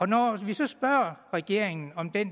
når vi så spørger regeringen om det